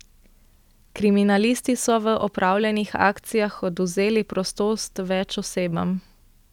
Kriminalisti so v opravljenih akcijah odvzeli prostost več osebam.